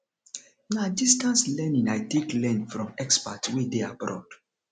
na distance learning i take learn from experts wey dey abroad